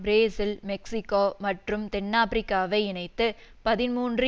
Brazil Mexico மற்றும் தென்னாபிரிக்காவை இணைத்து பதிமூன்று